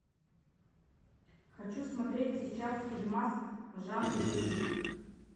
хочу смотреть сейчас фильмас в жанре боевик